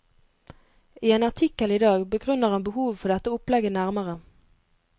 I en artikkel i dag begrunner han behovet for dette opplegget nærmere.